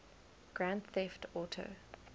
grand theft auto